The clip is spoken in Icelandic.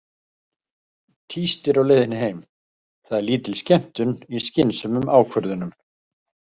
Tístir á leiðinni heim: Það er lítil skemmtun í skynsömum ákvörðunum.